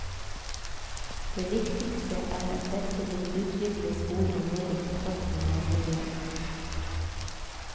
Det viktigste er at dette vil utvikle skolene mer i kontakt med nærmiljøet.